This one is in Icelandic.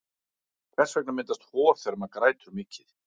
hvers vegna myndast hor þegar maður grætur mikið